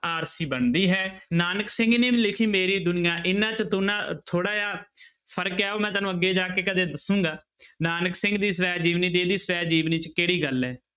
ਆਰਸੀ ਬਣਦੀ ਹੈ ਨਾਨਕ ਸਿੰਘ ਲਿਖੀ ਮੇਰੀ ਦੁਨੀਆ ਇਹਨਾਂ 'ਚ ਤੋ ਨਾ ਥੋੜ੍ਹਾ ਜਿਹਾ ਫ਼ਰਕ ਹੈ ਉਹ ਮੈਂ ਤੈਨੂੰ ਅੱਗੇ ਜਾ ਕੇ ਕਦੇ ਦੱਸਾਂਗਾ ਨਾਨਕ ਸਿੰਘ ਦੀ ਸਵੈ ਜੀਵਨੀ ਤੇ ਇਹਦੀ ਸਵੈ ਜੀਵਨੀ 'ਚ ਕਿਹੜੀ ਗੱਲ ਹੈ।